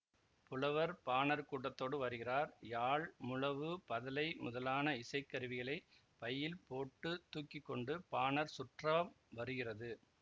புலவர் பாணர் கூட்டத்தோடு வருகிறார் யாழ் முழவு பதலை முதலான இசைக்கருவிகளைப் பையில் போட்டு தூக்கி கொண்டு பாணர் சுற்றம் வருகிறது